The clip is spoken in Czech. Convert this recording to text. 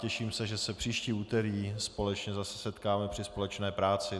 Těším se, že se příští úterý společně zase setkáme při společné práci.